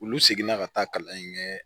Olu seginna ka taa kalan in kɛ